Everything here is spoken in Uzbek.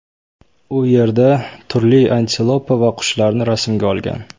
U yerda turli antilopa va qushlarni rasmga olgan.